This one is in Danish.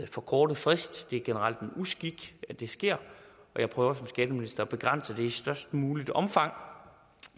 for kort en frist det er generelt en uskik at det sker og som skatteminister at begrænse det i størst muligt omfang